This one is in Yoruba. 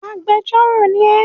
Agbẹjọ́rò ni ẹ!